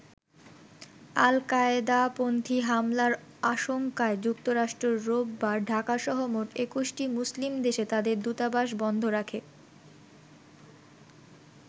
আল-কায়েদাপন্থী হামলার আশংকায় যুক্তরাষ্ট্র রোববার ঢাকাসহ মোট ২১টি মুসলিম দেশে তাদের দূতাবাস বন্ধ রাখে।